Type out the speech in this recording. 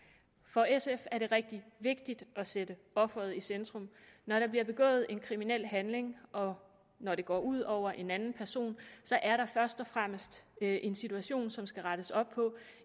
for sf er det rigtig vigtigt at sætte offeret i centrum når der bliver begået en kriminel handling og når det går ud over en anden person er der først og fremmest en situation som der skal rettes op på